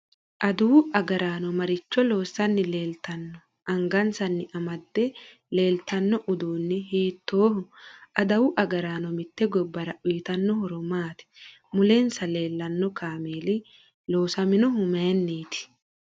Aduwu agaraanno maricho loosanni leeltanno angasanni amadde leeltanno uduuni hiitooho aduwu agraano mitte gobbara uyiitanno horo maati mulensa leelanno kaameeli loosaminohu mayiiniiti